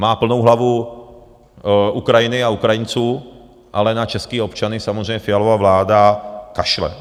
Má plnou hlavu Ukrajiny a Ukrajinců, ale na české občany samozřejmě Fialova vláda kašle.